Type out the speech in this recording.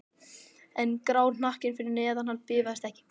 En grár hnakkinn fyrir neðan hann bifast ekki.